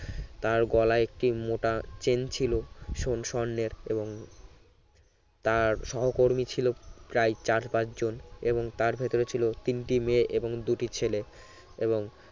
তার গলায় একটি মোটা চেন ছিল সন~ স্বর্ণের এবং তার সহকর্মী ছিল প্রায় চার পাঁচ জন এবং তার ভেতরে ছিল তিনটি মেয়ে এবং দুটি ছেলে এবং